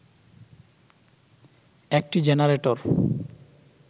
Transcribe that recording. একটি জেনারেটর